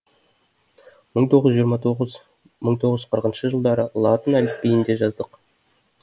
мың тоғыз жүз жиырма тоғыз мың тоғыз жүз қырықыншы жылдары латын әліпбиінде жаздық